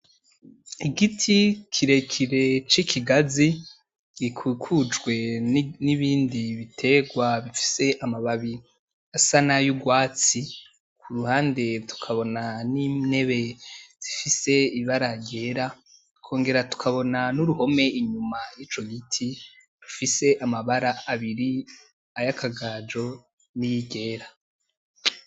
Igiti kirekire c’ikigazi, gikukujwe n'ibindi biterwa bifise amababi asa nayo urwatsi. Kuruhande tukabona N’intebe zifise ibara ryera tukongera tukabona n’uruhome inyuma yico giti rufise amabara abiri ayakagajo, niryera.